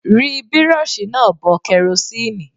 Ri Bírọ́ọ̀ṣì náà bọ kerosíǹnì.!